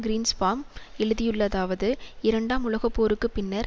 Greenspan எழுதியுள்ளதாவது இரண்டாம் உலகப்போருக்கு பின்னர்